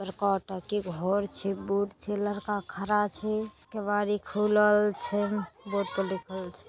बड़का टाके घर छै बोर्ड छै। लड़का खड़ा छै। केवाड़ी खुलल छै। बोर्ड पर लिखल छै।